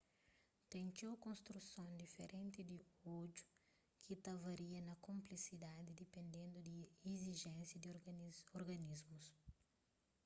ten txeu konstruson diferenti di odju ki ta varia na konplesidadi dipendendu di izijénsias di organismu